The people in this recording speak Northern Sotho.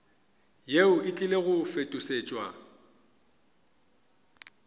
yeo e tlile go fetošetšwa